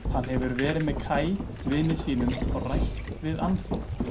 Hann hafi verið með Kaj vini sínum og rætt við Annþór.